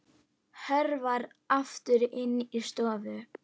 Hörfar aftur inn í stofu.